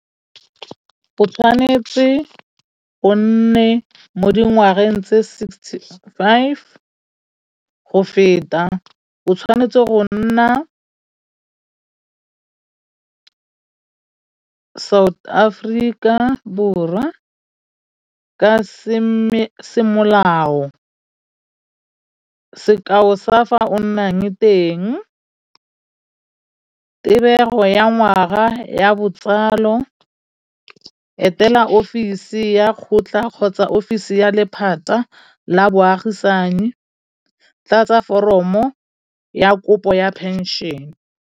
O tshwanetse o nne mo dingwageng tse sixty five go feta, o tshwanetse go nna Aforika Borwa ka se semolao. Sekao sa fa o nnang teng, tebego ya ngwaga ya botsalo, etela ofisi ya go tla kgotsa ofisi ya lephata la moagisan, i tla tsa foromo ya kopo ya phenšene.